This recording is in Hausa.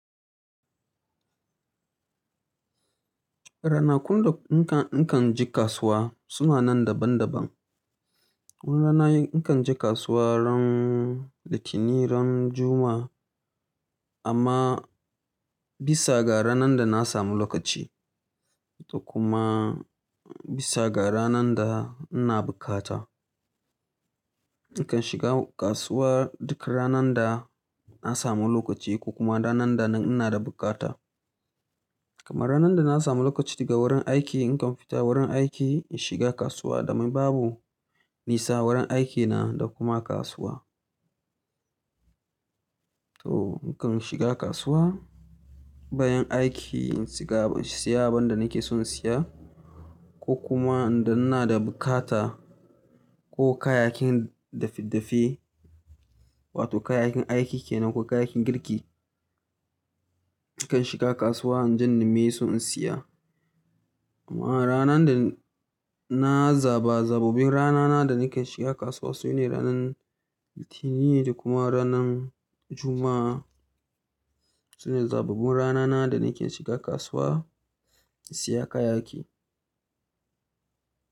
Ranakun da in kan, in kan je kasuwa suna nan daban daban. Wani rana in kan je kasuwa ran Litinin ran Juma'a amma bisa ga ranan da na samu lokaci, da kuma bisa ga ranan da ina bukata. Ni kan shiga kasuwa duk ranan da na samu lokaci ko kuma ranan da ina da bukata. Kamar ranan da na samu lokaci daga wurin aiki, in kan fita wurin aiki in shiga kasuwa domin babu nisa wurin aikina da kuma kasuwa. To ni kan shiga kasuwa, bayan aiki in siya abin da nake son siya ko kuma in da ina da bukata ko kayakin dafe-dafe wato kayakin aiki kenan ko kayakin girki. Ni kan shiga kasuwa in ji nime so in siya. Amma ranan da ina zaba zabbabin ranana da nake shiga kasuwa su ne ranan Litinin da kuma ranan Juma'a. Sune zabbabun ranana da nake shiga kasuwa in siya kayaki.